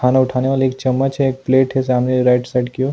खाना उठाने वाले एक चम्मच एक प्लेट है सामने राइट साइड कि ओर।